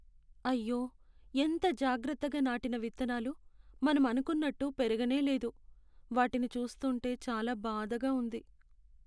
అయ్యో, ఎంత జాగ్రత్తగా నాటిన విత్తనాలు మనం అనుకున్నట్టు పెరగనేలేదు. వాటిని చూస్తుంటే చాలా బాధగా ఉంది.